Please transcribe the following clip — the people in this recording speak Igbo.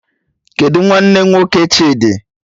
Kedụ nwanne nwoke Chidi?